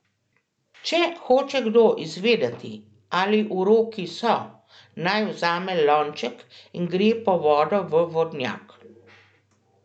Če hoče kdo izvedeti, ali uroki so, naj vzame lonček in gre po vodo v vodnjak.